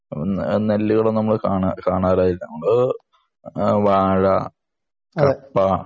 നെല്ലുകൾ നമ്മൾ കാണാറേയില്ല .വാഴ കപ്പ